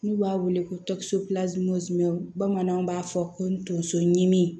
N'u b'a wele ko bamananw b'a fɔ ko tonso ɲimi